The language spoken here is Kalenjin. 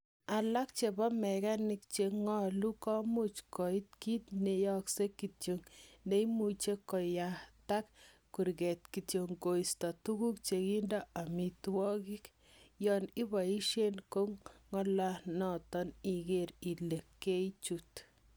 Alak chebo mekanik che ngole komuuch koik kit neyokse kityok, neimuche koyatak kurget kityok koisto tuguk chekindo amitwogik, yon iboishen kangolanoton iker ile keichut.